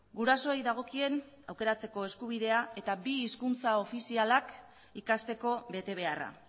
gurasoei dagokien aukeratzeko eskubidea eta bi hizkuntza ofizialak ikasteko betebeharra